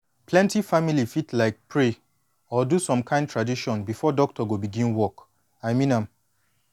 plenty family fit like pray or do some kin tradition before doctor go begin work i mean am